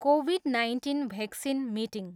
covid nineteen vaccine meeting